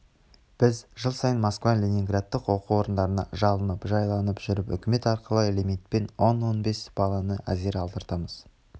біз жыл сайын москва ленинградтың оқу орындарына жалынып-жалпайып жүріп үкімет арқылы лимитпен он он бес баланы әзер алдыртамыз